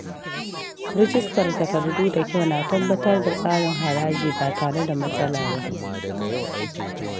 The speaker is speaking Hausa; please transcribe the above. Rijistar takardu da kyau na tabbatar da tsarin haraji ba tare da matsala ba.